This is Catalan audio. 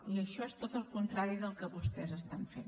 i això és tot el contrari del que vostès estan fent